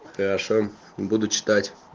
хорошо буду читать